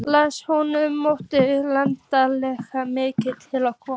Laxness sem honum þótti auðheyranlega mikið til koma.